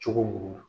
Cogo mun na